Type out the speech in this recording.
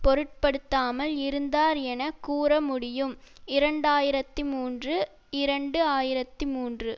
பொருட்படுத்தாமல் இருந்தார் என கூறமுடியும் இரண்டாயிரத்தி மூன்று இரண்டு ஆயிரத்தி மூன்று